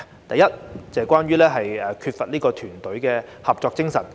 第一，是關於缺乏團隊合作精神。